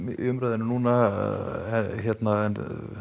í umræðunni núna en